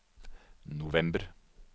november